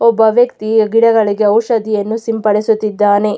ಒಬ್ಬ ವ್ಯಕ್ತಿ ಗಿಡಗಳಿಗೆ ಔಷಧಿಯನ್ನು ಸಿಂಪಡಿಸುತ್ತಿದ್ದಾನೆ.